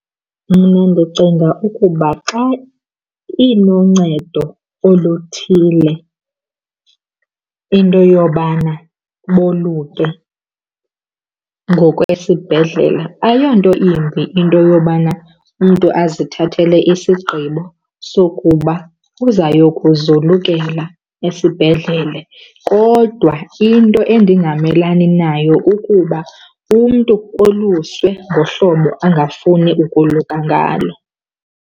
Mna ndicinga ukuba xa iluncedo oluthile into yobana boluke ngokwesibhedlela, ayonto imbi into yobana umntu azithathele isigqibo sokuba uzayokuzolukela esibhedlele. Kodwa into endingamelani nayo kukuba umntu oluswe ngohlobo angafuni ukoluka ngalo.